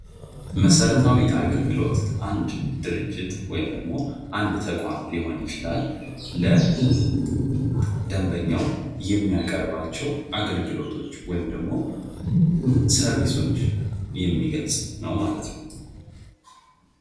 መሠረታዊ አገልግሎት አንድ ድርጅት ወይም አንድ ተቋም ሊሆን ይችላል ለደምበኛው የሚያቀርባቸው አገልግሎቶች ወይም ደግሞ ሰርቪስዎችን የሚገልጽ ነው ማለት ነው።